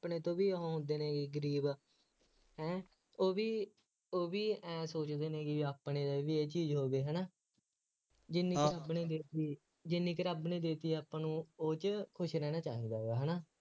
ਆਪਣੇ ਤੋਂ ਵੀ ਹੁੰਦੇ ਨੇ ਗਰੀਬ ਹੈ ਉਹ ਵੀ ਉਹ ਵੀ ਐਂ ਥੋੜ੍ਹੀ ਵੀ ਨੀ ਗੀ ਆਪਣੇ ਬਈ ਇਹ ਚੀਜ਼ ਹੋਵੇ, ਹੈ ਨਾ, ਜਿੰਨੀ ਆਪਣੀ ਵਿੱਖ ਗਈ, ਜਿੰਨੀ ਕੁ ਰੱਬ ਨੇ ਦੇ ਦਿੱਤੀ, ਆਪਾਂ ਨੂੰ ਉਹ, ਉਹ ਚ ਖੁਸ਼ ਰਹਿਣਾ ਚਾਹੀਦਾ ਵਾ ਹੈ ਨਾ,